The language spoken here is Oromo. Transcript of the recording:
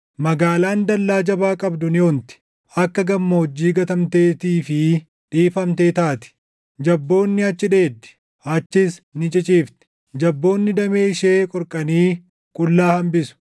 Magaalaan dallaa jabaa qabdu ni onti; akka gammoojjii gatamteetii fi dhiifamtee taati; jabboonni achi dheeddi; achis ni ciciifti; jabboonni damee ishee qorqanii qullaa hambisu.